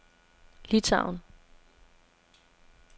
Litauen